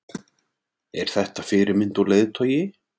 Er þetta fyrirmynd og leiðtogi?